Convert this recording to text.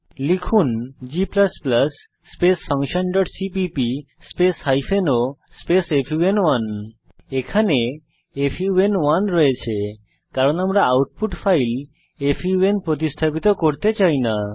লিখুন g function dot CPP hyphen o fun one এখানে fun one আছে কারণ আমরা আউটপুট ফাইল ফান প্রতিস্থাপিত করতে চাই না